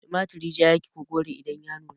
Tumarturi ja yake ko kore idan ya nuna?